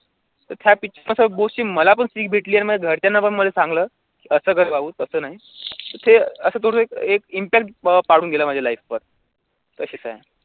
त्या गोष्टीत मला पण शिक भेटली आणि घरच्याना पण मला सांगलं, असं कर भाऊ तसं नाही, तर ते असं थोडं एक एक impact पाडून गेलं माझ्या life वर